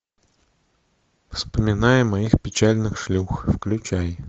вспоминая моих печальных шлюх включай